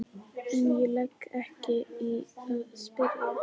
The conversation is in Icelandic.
En ég legg ekki í að spyrja.